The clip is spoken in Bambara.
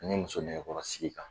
Ni muso nɛgɛkɔrɔsigi kan